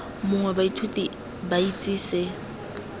mongwe baithuti ba itse se